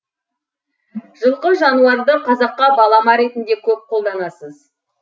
жылқы жануарды қазаққа балама ретінде көп қолданасыз